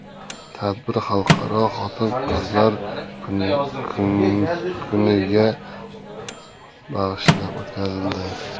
Tadbir Xalqaro Xotin-qizlar kuniga bag‘ishlab o‘tkazildi.